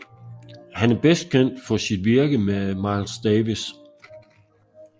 Han er bedst kendt for sit virke med Miles Davis